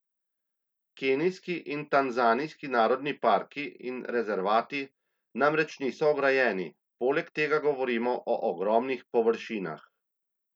Kenijski in tanzanijski narodni parki in rezervati namreč niso ograjeni, poleg tega govorimo o ogromnih površinah.